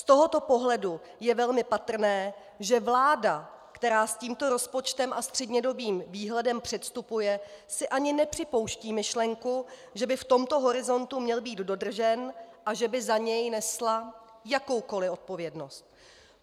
Z tohoto pohledu je velmi patrné, že vláda, která s tímto rozpočtem a střednědobým výhledem předstupuje, si ani nepřipouští myšlenku, že by v tomto horizontu měl být dodržen a že by za něj nesla jakoukoli odpovědnost.